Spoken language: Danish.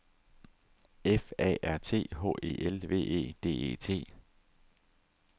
F A R T H E L V E D E T